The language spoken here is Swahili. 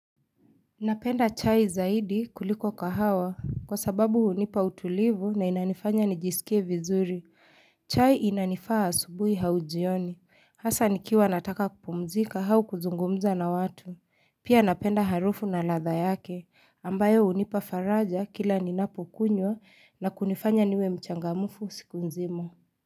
Napenda chai zaidi kuliko kahawa kwa sababu unipa utulivu na inanifanya nijisikie vizuri. Chai inanifaa asubuhi au jioni. Hasa nikiwa nataka kupumzika au kuzungumza na watu. Pia napenda harufu na ladha yake ambayo unipa faraja kila ninapo kunywa na kunifanya niwe mchangamufu siku nzima.